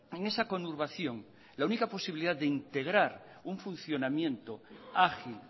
en esa conurbación la única posibilidad de integrar un funcionamiento ágil